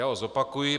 Já ho zopakuji.